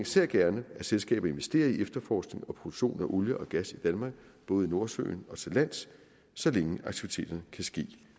ser gerne at selskaber investerer i efterforskning og produktion af olie og gas i danmark både i nordsøen og til lands så længe aktiviteterne kan ske